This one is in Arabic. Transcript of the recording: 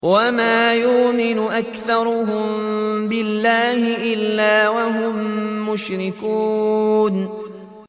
وَمَا يُؤْمِنُ أَكْثَرُهُم بِاللَّهِ إِلَّا وَهُم مُّشْرِكُونَ